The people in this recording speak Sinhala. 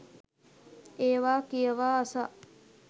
ඒවා කියවා අසා